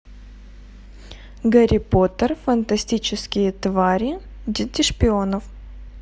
гарри поттер фантастические твари дети шпионов